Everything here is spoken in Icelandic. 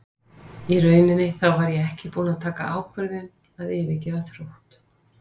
Í rauninni þá var ég ekki búinn að taka þá ákvörðun að yfirgefa Þrótt.